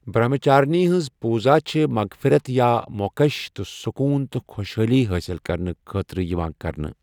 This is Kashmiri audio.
برٛہمچارِنی ہِنٛز پوٗزا چھےٚ مغفِرت یا موکش تہٕ سُکوٗن تہٕ خۄشحٲلی حٲصِل کرنہٕ خٲطرٕ یِوان کرنہٕ۔